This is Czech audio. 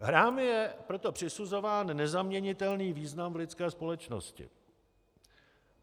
Hrám je proto přisuzován nezaměnitelný význam v lidské společnosti.